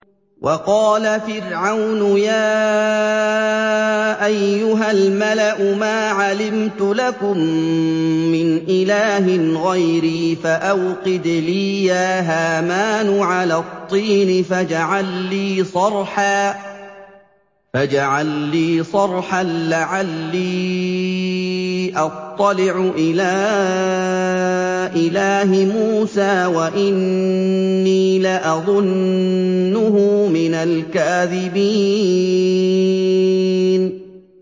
وَقَالَ فِرْعَوْنُ يَا أَيُّهَا الْمَلَأُ مَا عَلِمْتُ لَكُم مِّنْ إِلَٰهٍ غَيْرِي فَأَوْقِدْ لِي يَا هَامَانُ عَلَى الطِّينِ فَاجْعَل لِّي صَرْحًا لَّعَلِّي أَطَّلِعُ إِلَىٰ إِلَٰهِ مُوسَىٰ وَإِنِّي لَأَظُنُّهُ مِنَ الْكَاذِبِينَ